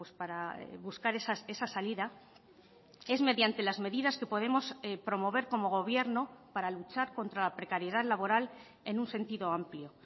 para buscar esa salida es mediante las medidas que podemos promover como gobierno para luchar contra la precariedad laboral en un sentido amplio